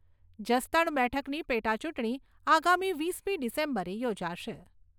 જસદણ બેઠકની પેટાચૂંટણી આગામી વીસમી ડિસેમ્બરે યોજાશે.